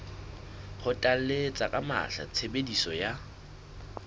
kgothalletsa ka matla tshebediso ya